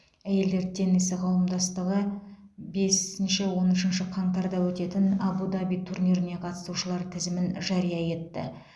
әйелдер теннисі қауымдастығы бесінші он үшінші қаңтарда өтетін әбу даби турниріне қатысушылар тізімін жария етті